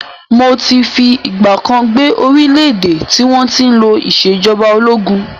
Mó ti fi ìgbàkan gbé orílẹ̀ èdè tí wọn tí ń lò ìsèjọba ológun